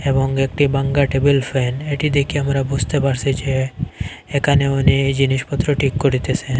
এবং একটি ভাঙ্গা টেবিল ফ্যান এটি দেইখে আমরা বুঝতে পারসি যে এখানে উনি এই জিনিসপত্র ঠিক করিতেসে।